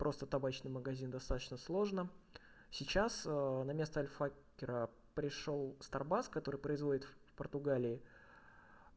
просто табачный магазин достаточно сложно сейчас на место альфакера пришёл старбаз который производит в португалии